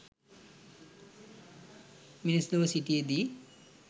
මිනිස් ලොව සිටියදී